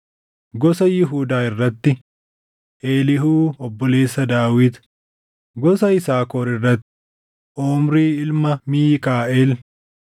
gosa Yihuudaa irratti: Eliihuu obboleessa Daawit; gosa Yisaakor irratti: Omrii ilma Miikaaʼel;